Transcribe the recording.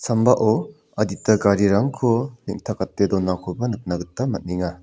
sambao adita garirangko neng·takate donakoba nikna gita man·enga.